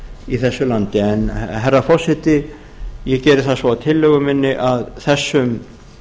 í þessu landi herra forseti ég geri það svo að tillögu minni að þessum